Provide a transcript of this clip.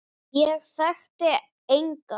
Ég þekkti enga.